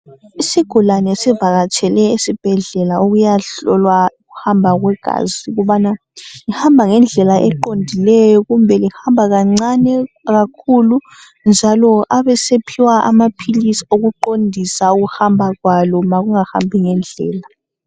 Izigulane sivakatshele esibhedlela ukuya hlolwa ukuhamba kwegazi ukubana lihamba ngendlela eqondileyo, kumbe lihamba kancane, kumbe kakhulu. Njalo abesephiwa amapilisi okuqindisa ukuhamba kwalo nxa lingahambi ngendlela